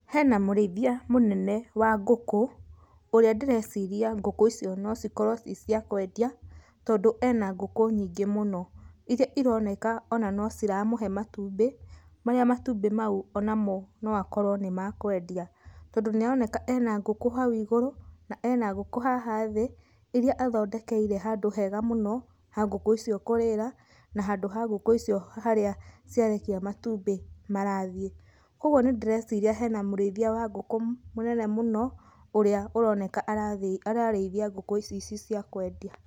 Hena mũrĩithia mũnene wa ngũkũ ũrĩa ndĩreciria ngũkũ icio nocikorwo ciciakwendia tondũ ena ngũkũ nyingĩ muno.Irĩa ironeka ona nĩciramũhe matumbĩ marĩa matumbĩ mau onamo noakorwe nĩmakwendia tondũ nĩaroneka ena ngũkũ icio kũrĩra na handũ ha ngũkũ icio harĩa ciarekia matumbĩ marathiĩ ,kwoguo nĩndĩreciria hena mũrĩithia wa ngũkũ mũnene mũno ũrĩa ũroneka ararĩithia ngũkũ ici cia kwendia.